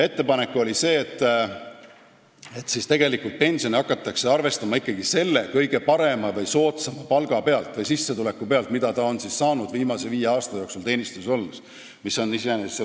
Ettepanek oli see, et pensione hakataks arvestama ikkagi selle kõige parema või kõige soodsama palga või sissetuleku pealt, mida ta on saanud viimase viie aasta jooksul teenistuses olles, mis on iseenesest õige.